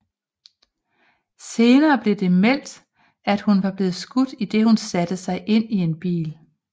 Senere blev det meldt at hun var blevet skudt idet hun satte sig ind i en bil